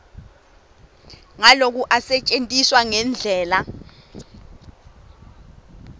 nguloku asisetjentwa ngendlela